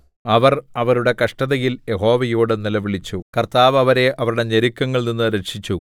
അവർ അവരുടെ കഷ്ടതയിൽ യഹോവയോട് നിലവിളിച്ചു കർത്താവ് അവരെ അവരുടെ ഞെരുക്കങ്ങളിൽനിന്നു രക്ഷിച്ചു